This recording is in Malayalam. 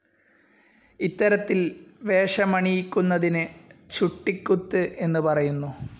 ഇത്തരത്തിൽ വേഷമണിയിക്കുന്നതിന് ചുട്ടികുത്ത് എന്നു പറയുന്നു.